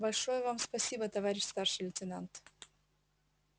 большое вам спасибо товарищ старший лейтенант